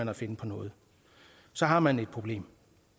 at finde på noget så har man et problem